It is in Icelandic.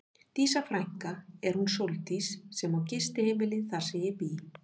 Dísa frænka er hún Sóldís sem á gistiheimilið þar sem ég bý.